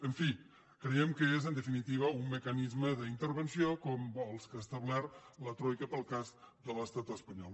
en fi creiem que és en definitiva un mecanisme d’intervenció com els que ha establert la troica per al cas de l’estat espanyol